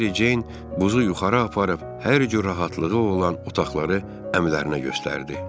Mary Jean bəz yuxarı aparıb hər cür rahatlığı olan otaqları əmilərinə göstərdi.